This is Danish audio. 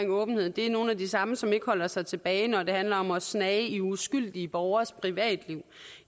åbenhed er nogle af de samme som ikke holder sig tilbage når det handler om at snage i uskyldige borgeres privatliv